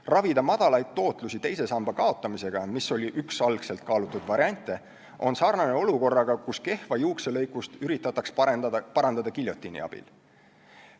Ravida madalaid tootlusi teise samba kaotamisega, mis oli üks algselt kaalutud variante, on sarnane olukorraga, kus kehva juukselõikust üritataks parandada giljotiini abil.